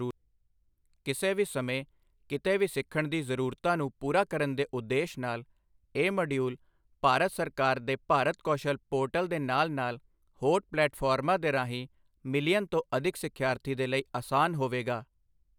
ਕਿਸੇ ਵੀ ਸਮੇਂ ਕੀਤੇ ਵੀ ਸਿੱਖਣ ਦੀ ਜ਼ਰੂਰਤਾ ਨੂੰ ਪੂਰਾ ਕਰਨ ਦੇ ਉਦੇਸ਼ ਨਾਲ, ਇਹ ਮੋਡਿਊਲ ਭਾਰਤ ਸਰਕਾਰ ਦੇ ਭਾਰਤ ਕੌਸ਼ਲ ਪੋਰਟਲ ਦੇ ਨਾਲ ਨਾਲ ਹੋਰ ਪਲੈਟਫਾਰਮਾਂ ਦੇ ਰਾਹੀਂ ਮਿਲੀਅਨ ਤੋਂ ਅਧਿਕ ਸਿਖਿਆਰਥੀ ਦੇ ਲਈ ਅਸਾਨ ਹੋਵੇਗਾ।